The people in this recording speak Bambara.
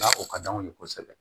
o ka d'anw ye kosɛbɛ